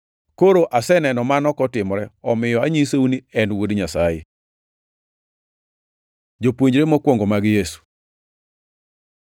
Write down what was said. Koro aseneno mano kotimore omiyo anyisou ni en Wuod Nyasaye.” Jopuonjre mokwongo mag Yesu